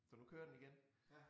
Så nu kører den igen